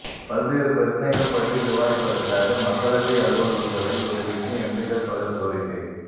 பல்வேறு பிரச்சனைகள் பற்றி விவாதிப்பதற்காக மக்களவை அலுவல்களை ஒத்திவைக்க எம்பிக்கள் பலர் கோரிக்கை